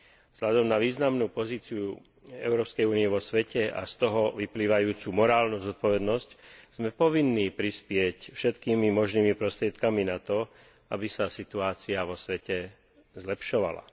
Vzhľadom na významnú pozíciu Európskej únie vo svete a z toho vyplývajúcu morálnu zodpovednosť sme povinní prispieť všetkými možnými prostriedkami k tomu, aby sa situácia vo svete zlepšovala.